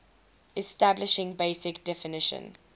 establishing basic definition